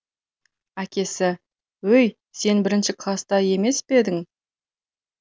әкесі өй сен бірінші класста емес пе едің